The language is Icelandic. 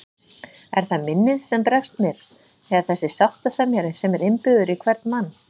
Er það minnið sem bregst mér eða þessi sáttasemjari sem er innbyggður í hvern mann?